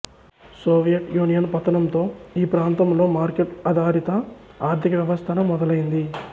Soviet Union పతనంతో ఈ ప్రాంతంలో మార్కెట్ ఆధారిత ఆర్థిక వ్యవస్థను మొదలైంది